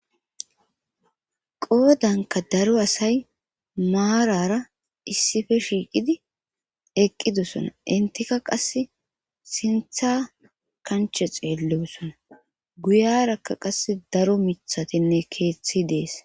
Qoodanka daro asay maarara issippe shiiqidi eqqidussona intika qas sintha kanche xeellewusona guyarakka qass daro mithatinne keeththi dees.